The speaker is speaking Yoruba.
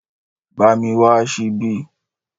Bá mi wá ṣíbí